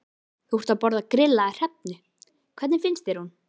Þú ert að borða grillaða hrefnu, hvernig finnst þér hún?